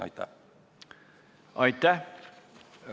Aitäh!